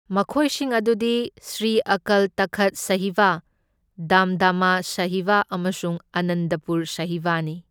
ꯃꯈꯣꯢꯁꯤꯡ ꯑꯗꯨꯗꯤ ꯁ꯭ꯔꯤ ꯑꯀꯜ ꯇꯈꯠ ꯁꯥꯍꯤꯕ, ꯗꯝꯗꯥꯃꯥ ꯁꯥꯍꯤꯕ ꯑꯃꯁꯨꯡ ꯑꯥꯅꯟꯗꯄꯨꯔ ꯁꯥꯍꯤꯕꯅꯤ꯫